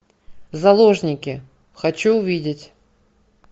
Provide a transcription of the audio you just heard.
заложники хочу увидеть